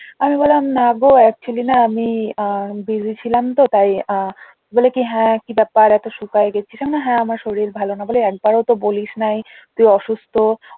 আমি বললাম না গো actually না আমি busy ছিলাম তো তাই আহ বলে কি হ্যাঁ কি ব্যাপার এত শুকায়ে গেছিস আমি বললাম হ্যাঁ আমার শরীর ভালো না বলে একবারও তো বলিস নাই তুই অসুস্থ